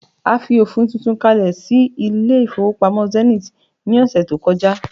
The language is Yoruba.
a fi ofin tuntun kale sí ilé ifowópamọ́ Zenith ni ọsẹ ti o koja